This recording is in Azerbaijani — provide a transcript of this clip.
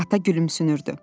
Ata gülümsünürdü.